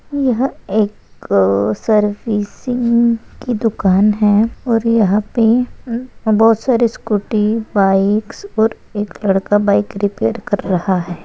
यह एक सर्विसिंग की दुकान है और यहाँ पे बहुत सारे स्कूटी बाइकस और एक लडका बाइक रिपेयर कर रहा है।